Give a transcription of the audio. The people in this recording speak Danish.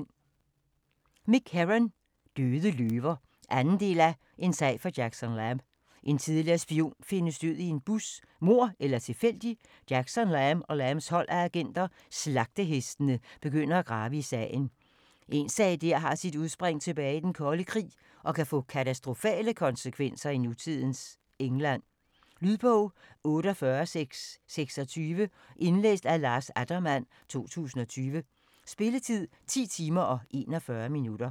Herron, Mick: Døde løver 2. del af En sag for Jackson Lamb. En tidligere spion findes død i en bus. Mord eller tilfældigt? Jackson Lamb og Lambs hold af agenter, Slagtehestene, begynder at grave i sagen. En sag der har sit udspring tilbage i den kolde krig og kan få katastrofale konsekvenser i nutidens England. Lydbog 48626 Indlæst af Lars Attermann, 2020. Spilletid: 10 timer, 41 minutter.